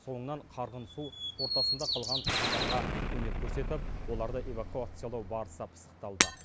соңынан қарғын су ортасында қалған тұрғындарға көмек көрсетіп оларды эвакуациялау барысы пысықталды